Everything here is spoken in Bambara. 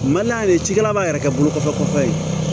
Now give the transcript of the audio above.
Man d'a ye cikɛla b'a yɛrɛ kɛ bolo kɔfɛtɔ ye